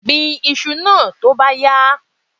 Gbin iṣu náà tó bá yá!